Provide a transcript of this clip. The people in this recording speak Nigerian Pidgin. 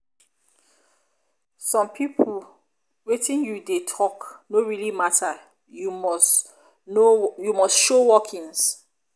some pipo wetin you dey talk no really matter you must show workings